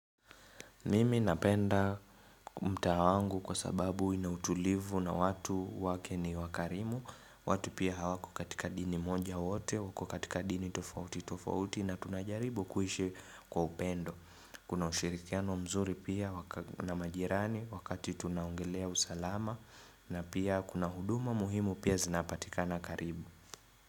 Mimi napenda mtaa wangu kwa sababu ina utulivu na watu wake ni wakarimu watu pia hawako katika dini moja wote wako katika dini tofauti tofauti na tunajaribu kuishi kwa upendo Kuna ushirikiano mzuri pia na majirani wakati tunaongelea usalama na pia kuna huduma muhimu pia zinapatika na karibu.